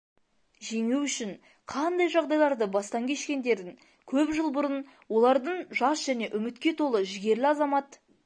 жеңу үшін қандай жағдайларды бастан кешкендерін көп жылбұрын олардың жас және үмітке толы жігерлі азамат